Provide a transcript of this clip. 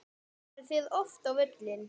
Farið þið oft á völlinn?